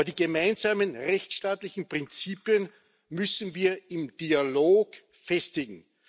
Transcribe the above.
Aber die gemeinsamen rechtsstaatlichen Prinzipien müssen wir im Dialog festigen.